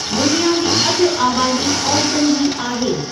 दुनिया जी अधु आबादी औरतुनि जी आहे।